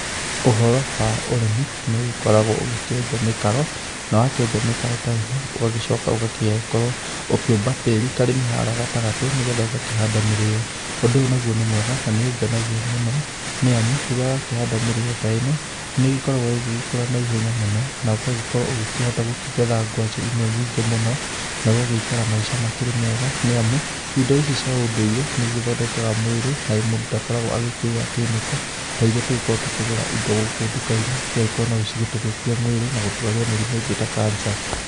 Ũhoro wa ũrĩmi, nĩũgĩkoragwo ũgĩkĩenja mĩkaro, nawakĩenja mĩkaro ta ĩno, ũgagĩcoka ũgagĩkorwo ũkĩamba tĩri karĩma harĩa gatagatĩ nĩgetha ũgakĩhanda mĩrĩo. Ũndũ ũyũ naguo nĩmwega, na nĩũngenagia mũno, nĩamu, rĩrĩa wakĩhanda mĩrĩo ta ĩno, nĩ ĩgĩkoragwo ĩgĩgĩkũra naihenya mũno, na ũgagĩkorwo ũgĩkĩhota gĩkĩgetha ngwacĩ imwe nyingĩ mũno, na ũgagĩikara maica makĩrĩ mega, nĩamu indo ici cia ũndũire, nĩgĩthondekaga mwĩrĩ, na mũndũ ndagĩkoragwo agĩkĩrĩa kĩmĩko ta iria tũgĩkoragwo tũkĩgũra indo gũkũ ndukainĩ, igagĩkorwo nocitũthũkie mĩrĩ, na gũtũrwaria mĩrimũ ĩngĩ ta kanca.